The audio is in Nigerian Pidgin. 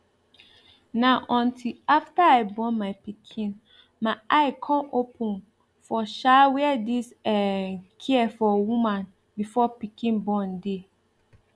na until after i born my pikin my eye come open for um where this um care for woman before pikin born dey